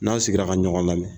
N'an sigila ka ɲɔgɔn lamɛn